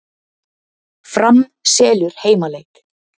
Fram selur heimaleik